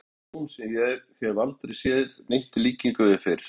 Þar blasir við mér sjón sem ég hef aldrei sér neitt í líkingu við fyrr.